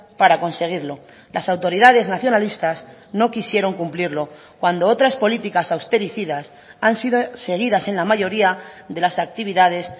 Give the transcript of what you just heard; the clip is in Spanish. para conseguirlo las autoridades nacionalistas no quisieron cumplirlo cuando otras políticas austericidas han sido seguidas en la mayoría de las actividades